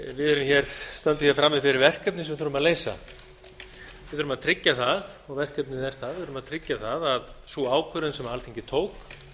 við stöndum hér frammi fyrir verkefni sem við þurfum að leysa verkefnið er það að við þurfum að tryggja það að sú ákvörðun sem alþingi tók